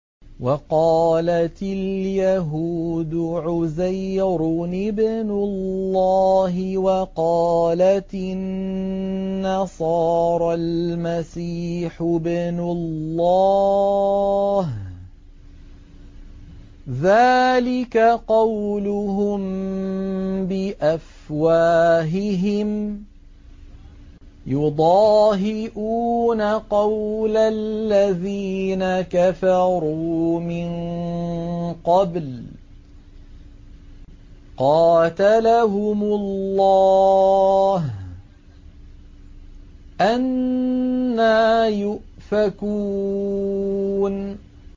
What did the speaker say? وَقَالَتِ الْيَهُودُ عُزَيْرٌ ابْنُ اللَّهِ وَقَالَتِ النَّصَارَى الْمَسِيحُ ابْنُ اللَّهِ ۖ ذَٰلِكَ قَوْلُهُم بِأَفْوَاهِهِمْ ۖ يُضَاهِئُونَ قَوْلَ الَّذِينَ كَفَرُوا مِن قَبْلُ ۚ قَاتَلَهُمُ اللَّهُ ۚ أَنَّىٰ يُؤْفَكُونَ